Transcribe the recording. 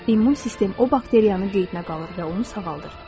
İmmun sistem o bakteriyanın qeydinə qalır və onu sağaldır.